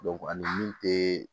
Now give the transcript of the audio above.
ani min te